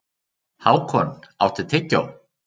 Hákon, áttu tyggjó?